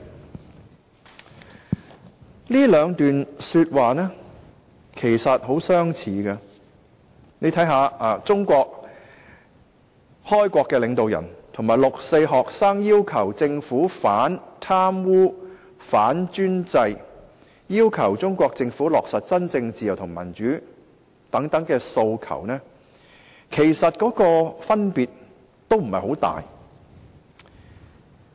"其實，這兩段說話很相似；中國開國領導人和六四學生在要求政府反貪污、反專制，要求政府落實真正自由和民主等訴求，其實分別不太大。